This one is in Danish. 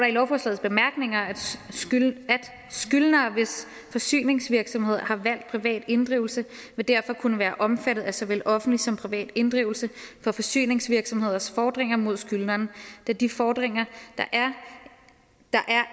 i lovforslagets bemærkninger skyldnere hvis forsyningsvirksomhed har valgt privat inddrivelse vil derfor kunne være omfattet af såvel offentlig som privat inddrivelse for forsyningsvirksomheders fordringer mod skyldneren da de fordringer der er